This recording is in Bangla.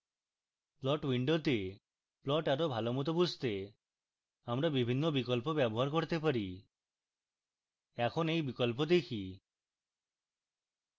plot window plot আরো ভালোমত বুঝতে আমরা বিভিন্ন বিকল্প ব্যবহার করতে পারি এখন এই বিকল্প দেখি